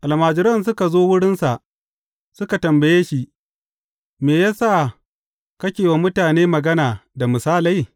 Almajiran suka zo wurinsa suka tambaye shi, Me ya sa kake wa mutane magana da misalai?